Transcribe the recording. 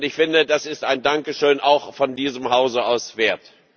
Und ich finde, das ist ein Dankeschön, auch von diesem Hause aus, wert.